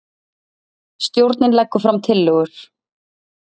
Stjórnin leggur fram tillögur